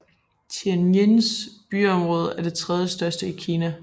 Tianjins byområde er det tredjestørste i Kina